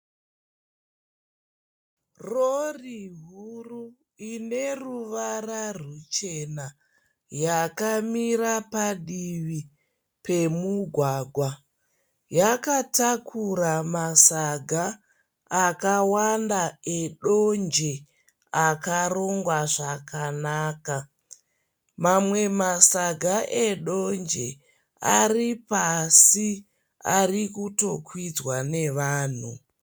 Rori huru ineruvara ruchena yakamira padivi pemugwagwa yakatakura masaga akawanda edonje akarongwa zvakanaka. Mamwe masaga edonje ari pasi ari kutokwidzwa nevanhu.